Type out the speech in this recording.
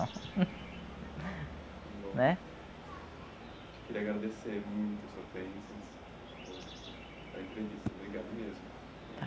Né? Queria agradecer muito a sua presença a entrevista, obrigado mesmo. Tá.